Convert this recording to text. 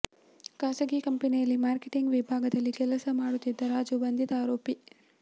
ಖಾಸಗಿ ಕಂಪನಿಯಲ್ಲಿ ಮಾರ್ಕೆಟಿಂಗ್ ವಿಭಾಗದಲ್ಲಿ ಕೆಲಸ ಮಾಡುತ್ತಿದ್ದ ರಾಜು ಬಂಧಿತ ಆರೋಪಿ